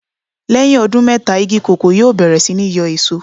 Lẹ́yìn ọdún mẹ́ta igi kòkó yóò bẹ̀rẹ̀ sí ní yóò èso.